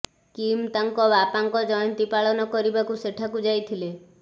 Kim ତାଙ୍କ ବାପାଙ୍କ ଜୟନ୍ତୀ ପାଳନ କରିବାକୁ ସେଠାକୁ ଯାଇଥିଲେ